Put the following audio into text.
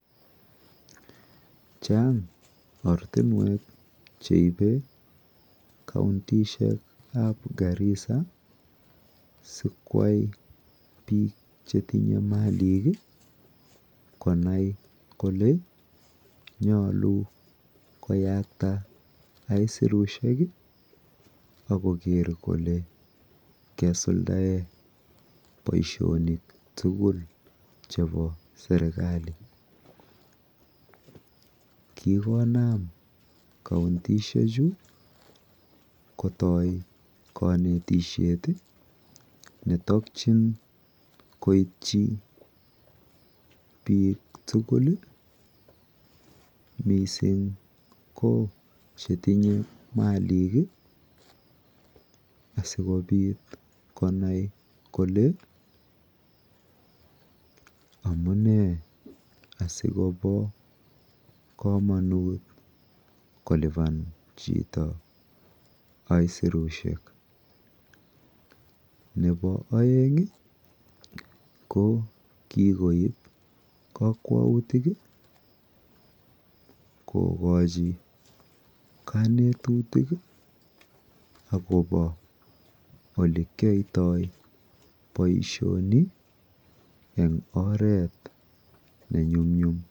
Chang' ortinwek che ipe kantishek ap Garissa si koyai piik che tinye maliik konai kole nyalu koyakta aisurushek ak koker kole kesuldaen poishonik tugul chepo serikali. Kikon kaontishechu kotai kanetishet ne takchjn koitchi piik tugul, missing' ko che tinye maliik, asiko nai kole amu nee si kopa kamanut kolipan chito aisurushek. Nepo aeng' ko kikoip kakwautik kokachi kanetutilk akopa ole kiyaitai poishoni eng' oret ne nyum nyum.